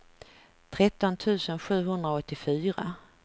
tretton tusen sjuhundraåttiofyra